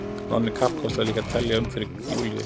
Nonni kappkostaði líka að telja um fyrir Júlíu.